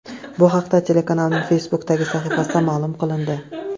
Bu haqda telekanalning Facebook’dagi sahifasida ma’lum qilindi .